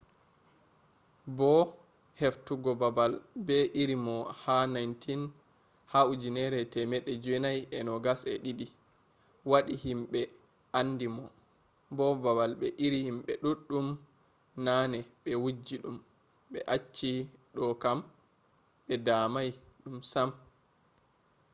bo heftugo babal be iri mo ha 1922 wadi himbe andi mo. bo babbal be iri himbe duddum nane be wujji dum be acci do kam be damai dum sam